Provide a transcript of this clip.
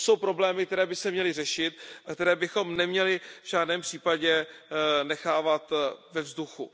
To jsou problémy, které by se měly řešit a které bychom neměli v žádném případě nechávat ve vzduchu.